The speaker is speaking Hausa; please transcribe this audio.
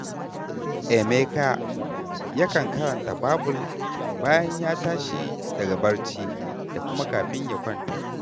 Emeka yakan karanta Babul bayan ya tashi daga barci da kuma kafin ya kwanta